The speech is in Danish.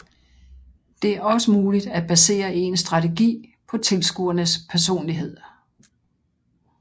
Det er også muligt at baserer ens strategi på tilskuernes personlighed